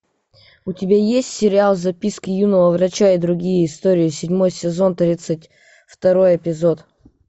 у тебя есть сериал записки юного врача и другие истории седьмой сезон тридцать второй эпизод